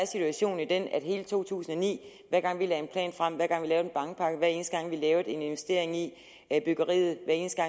situationen jo den i hele to tusind og ni hver gang vi lagde en plan frem hver gang vi lavede en bankpakke hver eneste gang vi lavede en investering i byggeriet